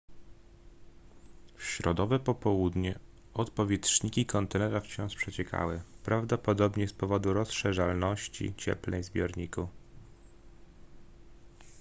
w środowe popołudnie odpowietrzniki kontenera wciąż przeciekały prawdopodobnie z powodu rozszerzalności cieplnej w zbiorniku